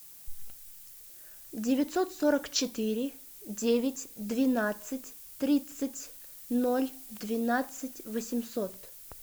девятьсот сорок четыре девять двенадцать тридцать ноль двенадцать восемьсот